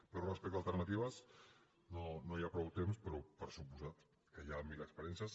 però respecte a alternatives no hi ha prou temps però per descomptat que hi ha mil experiències